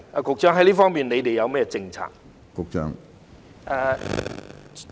局長，就這方面，當局有何政策？